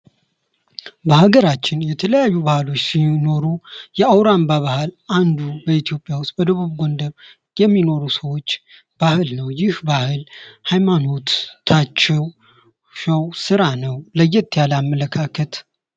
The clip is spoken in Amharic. የተለያዩ ባህሎች ሲኖሩ የአውራምባ ባህል አንዱ ኢትዮጵያ ውስጥ በደቡብ ጎንደር የሚኖሩ ሰዎች ባህል ነው ይግ ባህል ሃይማኖትታቸዉ ስራ ነው ለየት ያመለካከት!